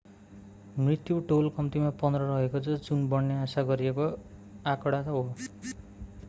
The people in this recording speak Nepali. मृत्यु टोल कम्तिमा 15 रहेको छ जुन बढ्ने आशा गरिएको आँकडा हो